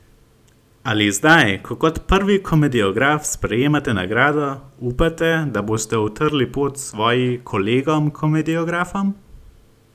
Ali zdaj, ko kot prvi komediograf sprejemate nagrado, upate, da boste utrli pot svoji kolegom komediografom?